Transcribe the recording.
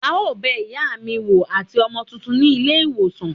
a o bè iyá mí woo atí ọmọ túntún ní ilé iwosàn.